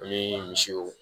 Ani misiw